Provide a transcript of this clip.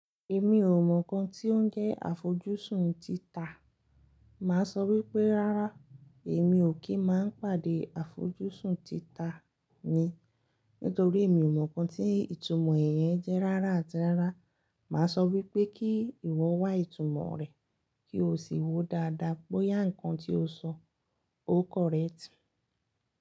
Èmi ò mọ̀ nǹkan tí ó ń jẹ́ àfojúsùn tita, màá sọ wípé rárá èmi ò kí máa ń pàdé àfojúsùn tita mi nítorí èmi ò mọ̀ nǹkan tí ìtumọ̀ ẹ̀ yẹn jẹ́ rárá àti rárá, màá sọ wípé kí ìwọ wá ìtumọ̀ rẹ̀ kí o sì wòó dáadáa bóyá ǹkan tí o sọ ó correct.